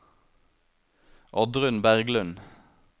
Oddrun Berglund